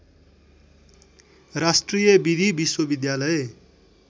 राष्ट्रिय विधि विश्वविद्यालय